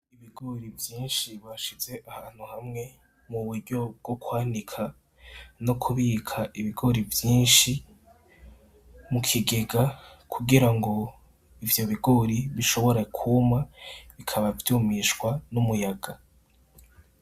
Ibigori vyinshi bashize ahantu hamwe mu buryo bwo kwanika no kubika ibigori vyinshi mu kigega. Kugira ngo ivyo bigori bishobore kuma bikaba vyumisha n’umuyaga.